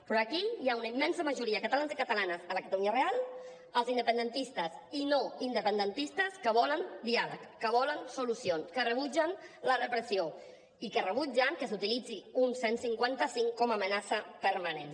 però aquí hi ha una immensa majoria catalans i catalanes a la catalunya real els independentistes i no independentistes que volen diàleg que volen solucions que rebutgen la repressió i que rebutgen que s’utilitzi un cent i cinquanta cinc com a amenaça permanent